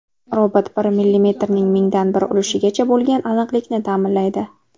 Robot bir millimetrning mingdan bir ulushigacha bo‘lgan aniqlikni ta’minlaydi.